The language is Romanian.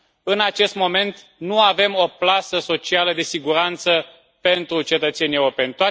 În acest moment nu avem o plasă socială de siguranță pentru cetățenii europeni.